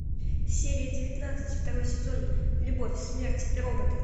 серия девятнадцать второй сезон любовь смерть и роботы